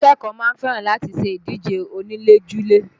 Àwọn akẹ́kọ̀ọ́ máa ń fẹ́ràn láti ṣe ìdíje onílé-julé